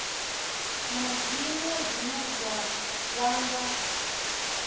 na zwiṅwe zwine zwa vhanga